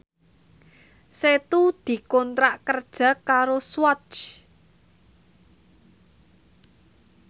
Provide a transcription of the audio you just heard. Setu dikontrak kerja karo Swatch